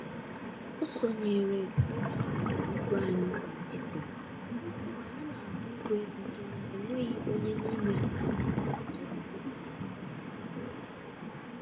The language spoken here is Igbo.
O sonyere otu ịgba igwe anyị n'etiti mgbe anyị n'agba igwe nke na enweghị onye n'ime anyị tụrụ anya ya